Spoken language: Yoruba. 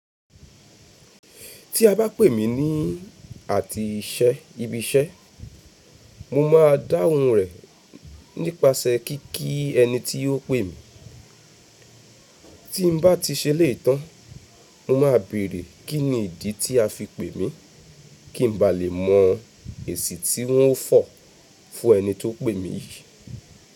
Tí a bá pè mí ní àtìíṣẹ́ ibi iṣẹ́, mo má a dáhùn rẹ̀ nípasẹ̀ kí kí ẹni tí ó pè mí. Tí n bá ti ṣe léè tán, mo máa béèrè kín ni ìdí tí a fi pè mí, kí n ba lè mọ èsì tí wọ́n fọ̀ fún ẹni tó pè mí yìí.